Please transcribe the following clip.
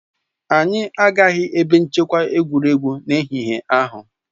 Anyị agaghị ebe nchekwa egwuregwu n'ehihie ahụ